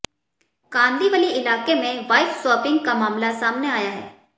कांदिवली इलाके में wife swapping का मामला सामने आया है